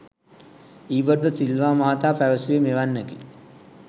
ඊබට් ද සිල්වා මහතා පැවසුවේ මෙවැන්නකි.